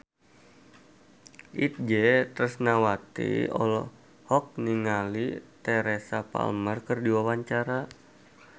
Itje Tresnawati olohok ningali Teresa Palmer keur diwawancara